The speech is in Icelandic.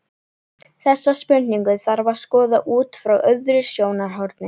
Þessa spurningu þarf að skoða út frá öðru sjónarhorni.